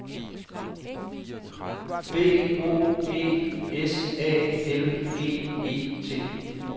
B O G S A L G E T